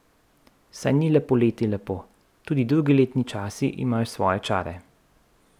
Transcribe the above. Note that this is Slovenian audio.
Saj ni le poleti lepo, tudi drugi letni časi imajo svoje čare ...